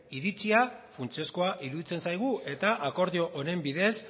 iritzia funtsezkoa iruditzen zaigu eta akordio honen bidez